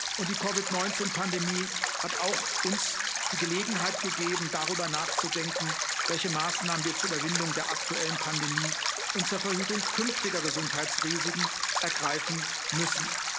Und die COVID 19 Pandemie hat auch uns die Gelegenheit gegeben, darüber nachzudenken, welche Maßnahmen wir zur Überwindung der aktuellen Pandemie und zur Verhütung künftiger Gesundheitsrisiken ergreifen müssen.